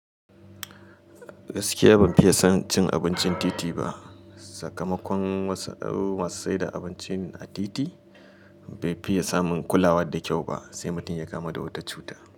Gaskiya ban fiye son cin abincin titi ba. Sakamakon wasu masu saida abinci a titi bai fiye samun kulawa da kyau ba, sai mutum ya kama da wata cuta.